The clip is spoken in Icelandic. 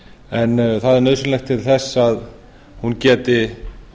en það er nauðsynlegt til þess að hún geti